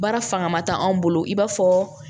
Baara fanga tɛ anw bolo i b'a fɔ